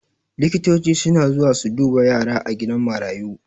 Likitoci suna zuwa su duba yara a gidan marayu